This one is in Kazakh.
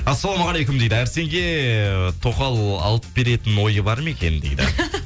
ассалаумағалейкум дейді әрсенге тоқал алып беретін ойы бар ма екен дейді